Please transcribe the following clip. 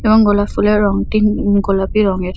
এবং গোলাপ ফুলের রঙটি উ উম গোলাপি রঙের।